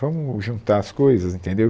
Vamos juntar as coisas, entendeu?